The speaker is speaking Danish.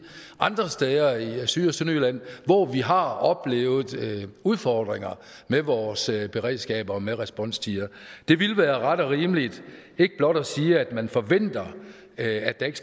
andre steder i i syd og sønderjylland hvor vi har oplevet udfordringer med vores beredskab og med responstider det ville ret og rimeligt ikke blot at sige at man forventer at der ikke